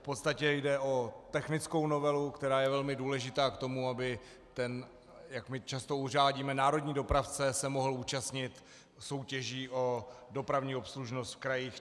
V podstatě jde o technickou novelu, která je velmi důležitá k tomu, aby ten, jak my často uvádíme, národní dopravce se mohl účastnit soutěží o dopravní obslužnost v krajích.